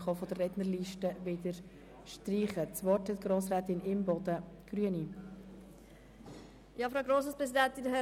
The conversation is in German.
Ansonsten dürfen Sie sich auch wieder von der Rednerliste streichen lassen.